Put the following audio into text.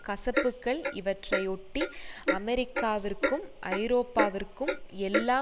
கசப்புக்கள் இவற்றையொட்டி அமெரிக்காவிற்கும் ஐரோப்பாவிற்கும் எல்லா